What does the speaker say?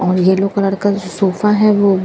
और yellow colour का sofa है वो--